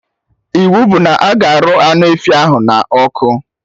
Iwu bụ na-aga arụ anụ efi ahụ na ọkụ!